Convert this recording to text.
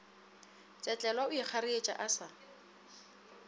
tsetlelwa o ikgareetše o sa